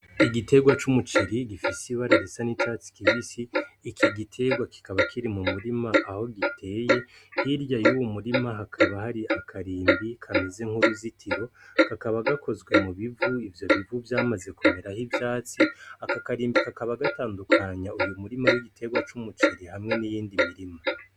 Igiterwa c'umuciri gifise ibararisa nicati kibisi, iki giterwa kikaba kiri mu murima aho giteye hirya y'uwu murima hakaba hari akarimbi kameze nk'uruzitiro ,kakaba gakozwe mu bivu ivyo bivu vyamaze kumera aho ivyatsi, aka karimbi kakaba gatandukanya uyu murima w'igiterwa c'umuciri hamwe niyindi mirima.